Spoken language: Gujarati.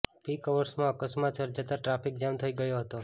પીક અવર્સમાં અકસ્માત સર્જાતા ટ્રાફિક જામ થઈ ગયો હતો